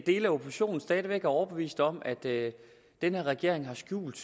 dele af oppositionen stadig væk er overbevist om at den her regering har skjult